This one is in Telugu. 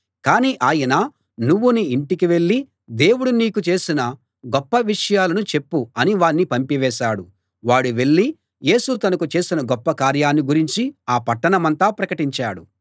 కానీ ఆయన నువ్వు నీ ఇంటికి వెళ్ళి దేవుడు నీకు చేసిన గొప్ప విషయాలను చెప్పు అని వాణ్ణి పంపివేశాడు వాడు వెళ్ళి యేసు తనకు చేసిన గొప్ప కార్యాన్ని గురించి ఆ పట్టణమంతా ప్రకటించాడు